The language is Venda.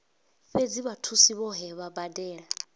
fhedzi vhathusi vhohe vha badela